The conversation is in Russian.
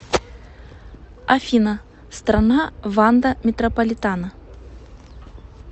афина страна ванда метрополитано